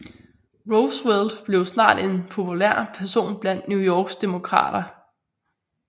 Roosevelt blev snart en populær person blandt New Yorks Demokrater